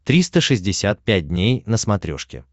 триста шестьдесят пять дней на смотрешке